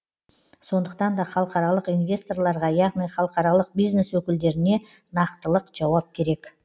сондықтан да халықаралық инвесторларға яғни халықаралық бизнес өкілдеріне нақтылық жауап керек